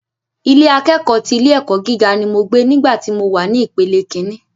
Ilé akẹ́kọ̀ọ́ ti ilé ẹ̀kọ́ gíga ni mo gbé nígbà tí mo wà ní ìpele ìkíní